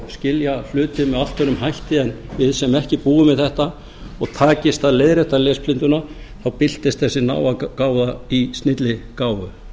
skilja hluti með allt öðrum hætti en við sem ekki búum við þetta og takist að leiðrétta lesblinduna þá birtist þessi náðargáfa í snilligáfu